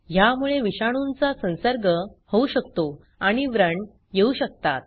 ह्यामुळे विषाणूंचा संसर्ग होऊ शकतो आणि व्रण येऊ शकतात